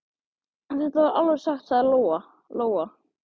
En þetta er alveg satt, sagði Lóa Lóa.